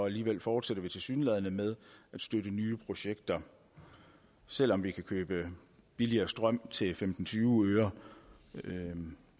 alligevel fortsætter vi tilsyneladende med at støtte nye projekter selv om vi kan købe billigere strøm til femten til tyve øre